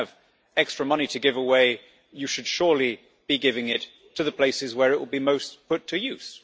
If you have extra money to give away you should surely be giving it to the places where it will be most put to use.